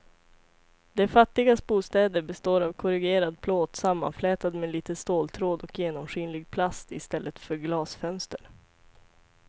De fattigas bostäder består av korrugerad plåt sammanflätad med lite ståltråd och genomskinlig plast i stället för glasfönster.